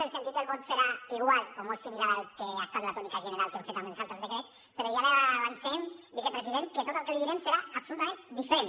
el sentit del vot serà igual o molt similar al que ha estat la tònica general que hem fet amb els altres decrets però ja li avancem vicepresident que tot el que li direm serà absolutament diferent